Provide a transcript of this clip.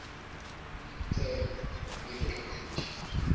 tsena nna ke tla khuta